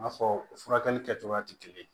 N'a fɔ furakɛli kɛcogoya tɛ kelen ye